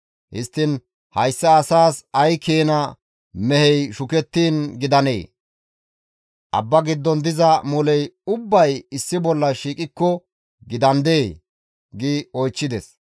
Histtiin hayssa asaas ay keena mehey shukettiin gidanee? Abba giddon diza moley ubbay issi bolla shiiqidaakko gidandee?» gi oychchides.